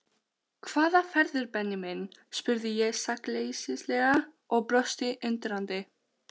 Jú, við gátum náttúrlega ekki þrætt fyrir það.